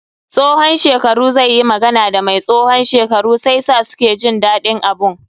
Tsohon shekaru zai yi magana da mai tsohon shekaru sai sa suke jin daɗin abun.